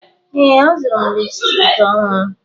Ee, azụrụ m lipstiki ọhụrụ.